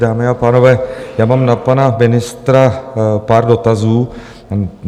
Dámy a pánové, já mám na pana ministra pár dotazů.